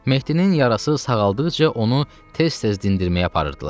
Mehdinin yarası sağaldıqca onu tez-tez dindirməyə aparırdılar.